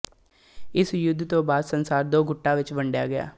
ਇਸ ਯੁੱਧ ਤੋਂ ਬਾਅਦ ਸੰਸਾਰ ਦੋ ਗੁੱਟਾਂ ਵਿੱਚ ਵੰਡਿਆ ਗਿਆ